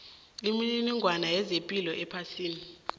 imininingwana yezepilo ephasini